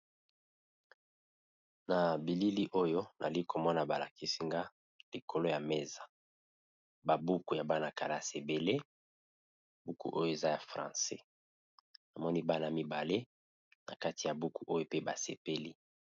Na bilili oyo nali komona balakisinga likolo ya mesa babuku ya bana kalasi ebele buku oyo eza ya francais amoni bana mibale na kati ya buku oyo pe basepeli